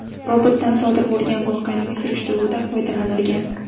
Robotdan sodir bo‘lgan voqeaning surishtiruvida foydalanilgan.